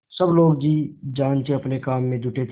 सब लोग जी जान से अपने काम में जुटे थे